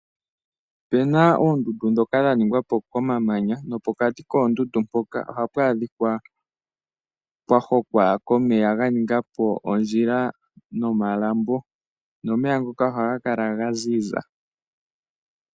Opu na oondundu ndhoka dha ningwa po komamanya nopokati koondundu mpoka ohapu adhika pwa hokwa komeya ga ninga po ondjila nomalambo nomeya ngoka ohaga kala ga ziza.